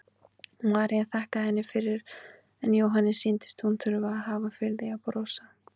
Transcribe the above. María þakkaði henni fyrir en Jóhanni sýndist hún þurfa að hafa fyrir því að brosa.